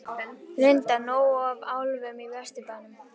Linda: Nóg af álfum í Vesturbænum?